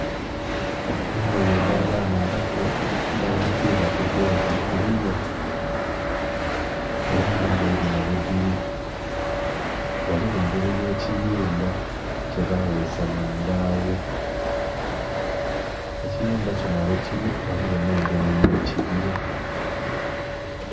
Engoye edha baana abato dhanikibwa ku goozi kuliya era nga engoye dhinho ghe dhili ghaligho engeri ye kiyumba kye baghesa mu mbagho ekiyumba kinho ghe kili ghaligho nhe engeri ye kibira.